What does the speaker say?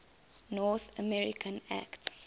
north america act